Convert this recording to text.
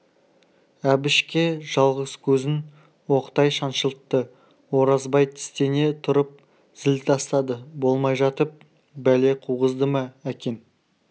әбішке жалғыз көзін оқтай шаншылтты оразбай тістене тұрып зіл тастады болмай жатып бәле қуғызды ма әкең